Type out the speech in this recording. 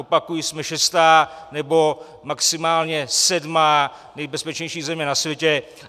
Opakuji, jsme šestá, nebo maximálně sedmá nejbezpečnější země na světě.